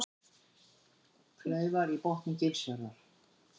Kleifar í botni Gilsfjarðar.